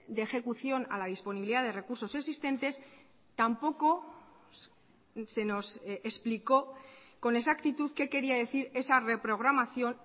de ejecución a la disponibilidad de recursos existentes tampoco se nos explicó con exactitud qué quería decir esa reprogramación